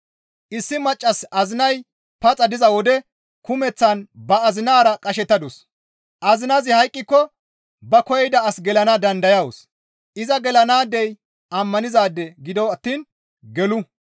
Issi maccassi azinay paxa diza wode kumeththan ba azinara qashettadus; azinazi hayqqiko ba koyida as gelana dandayawus; iza gelanaadey ammanizaade gido attiin gelu.